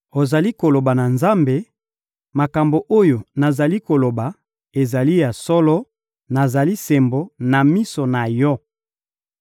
Ozali koloba na Nzambe: ‹Makambo oyo nazali koloba ezali ya solo; nazali sembo na miso na Yo.›